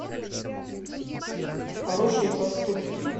хорошие поступки